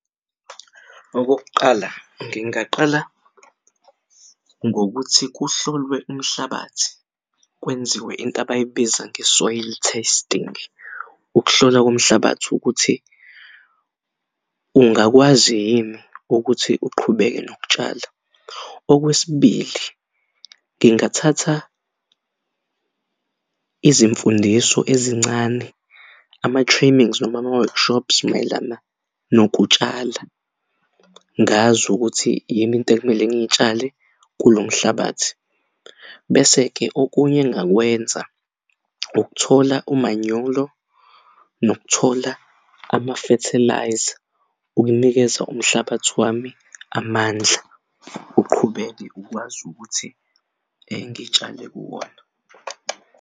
Okokuqala, ngingaqala ngokuthi kuhlolwe umhlabathi kwenziwe into abayibiza nge-soil testing ukuhlolwa komhlabathi ukuthi ungakwazi yini ukuthi uqhubeke nokutshala. Okwesibili, ngingathatha izimfundiso ezincane ama-trainings noma ama-workshops mayelana nokutshala ngazi ukuthi yini intekumele ngiyitshale kulo mhlabathi. Bese-ke okunye engingakwenza ukuthola umanyolo nokuthola ama-fertiliser ukunikeza umhlabathi wami amandla uqhubeke ukwazi ukuthi ngitshale kuwona.